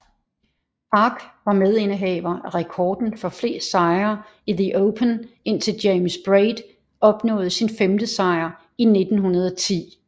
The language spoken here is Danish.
Park var medindehaver af rekorden for flest sejre i the Open indtil James Braid opnåede sin femte sejr i 1910